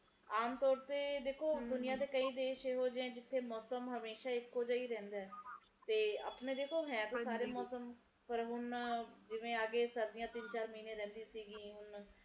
ਆਮ ਤੋਰ ਤੇ ਦੁਨੀਆਂ ਦੇ ਕਈ ਦੇਸ਼ ਇਹੋ ਜਹੇ ਹੈ ਮੌਸਮ ਹਮੇਸ਼ਾ ਇੱਕੋ ਜੇਹਾ ਰਹਿੰਦਾ ਤੇ ਦੇਖੋ ਆਪਣੇ ਹੈ ਤਾ ਸਾਰੇ ਮੌਸਮ ਪਰ ਹੁਣ ਜਿਵੇ ਸਰਦੀਆਂ ਤਿੰਨ ਮਹੀਨੇ ਰਹਿੰਦਿਆਂ ਸੀ ਹੁਣ